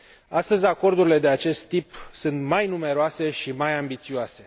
Astăzi, acordurile de acest tip sunt mai numeroase și mai ambițioase.